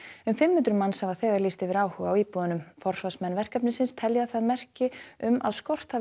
um fimm hundruð manns hafa þegar lýst yfir áhuga á íbúðunum forsvarsmenn verkefnisins telja það merki um að skort hafi